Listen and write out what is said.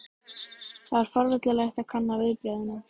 Það er forvitnilegt að kanna viðbrögðin.